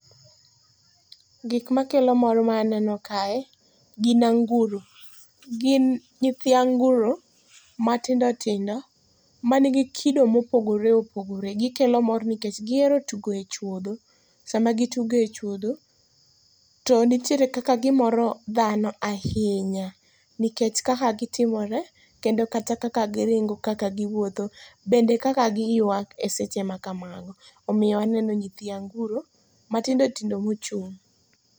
Gik makelo mor ma aneno kae gin anguro. Gin nyithi anguro matindo tindo man gi kido mopogore opogore. Gikelo mor nikech gihero tugo e chuodho. Sama gitugo echuodho, to nitiere kaka gimoro dhano ahinya, nikech kaka gitimore kendo kata kaka giringo kaka giwuotho, bende kaka giywak eseche ma kamago. Omiyo aneno nyithi anguro, matindo tindo mochung'.